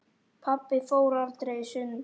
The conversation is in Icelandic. Pabbi fór aldrei í sund.